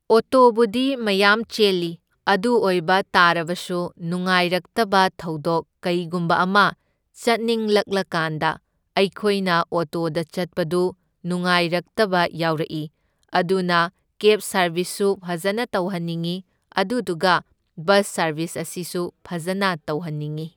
ꯑꯣꯇꯣꯕꯨꯗꯤ ꯃꯌꯥꯝ ꯆꯦꯜꯂꯤ, ꯑꯗꯨ ꯑꯣꯢꯕ ꯇꯥꯔꯕꯁꯨ ꯅꯨꯡꯉꯥꯏꯔꯛꯇꯕ ꯊꯧꯗꯣꯛ ꯀꯩꯒꯨꯝꯕ ꯑꯃ ꯆꯠꯅꯤꯡꯂꯛꯂꯀꯥꯟꯗ ꯑꯩꯈꯣꯏꯅ ꯑꯣꯇꯣꯗ ꯆꯠꯄꯗꯨ ꯅꯨꯉꯥꯏꯔꯛꯇꯕ ꯌꯥꯎꯔꯛꯢ, ꯑꯗꯨꯅ ꯀꯦꯕ ꯁꯔꯕꯤꯁꯁꯨ ꯐꯖꯅ ꯇꯧꯍꯟꯅꯤꯡꯢ, ꯑꯗꯨꯗꯨꯒ ꯕꯁ ꯁꯔꯕꯤꯁ ꯑꯁꯤꯁꯨ ꯐꯖꯅ ꯇꯧꯍꯟꯅꯤꯡꯢ꯫